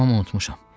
Tamam unutmuşam.